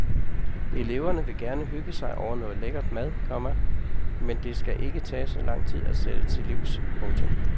Eleverne vil gerne hygge sig over noget lækkert mad, komma men det skal ikke tage så lang tid at sætte til livs. punktum